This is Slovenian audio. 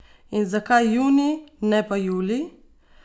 In zakaj junij, ne pa julij?